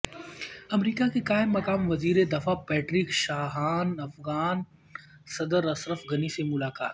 امریکا کے قائم مقام وزیر دفاع پیٹرک شانہان افغان صدر اشرف غنی سے ملاقات